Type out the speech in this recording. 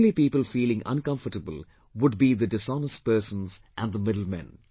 The only people feeling uncomfortable would be the dishonest persons and the middlemen